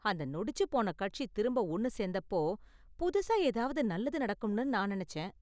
அந்த நொடிச்சு போன கட்சி திரும்ப ஒன்னு சேர்ந்தப்போ புதுசா ஏதாவது நல்லது நடக்கும்னு நான் நினைச்சேன்.